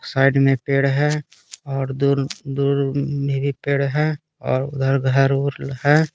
Side में पेड़ है और दूर दूर में भी पेड़ है और उधर घर है।